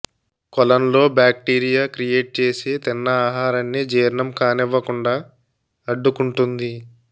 కొలన్ లో bacteria create చేసి తిన్న ఆహారాన్ని జీర్ణం కానివ్వకుండా అడ్డుకుంటుంది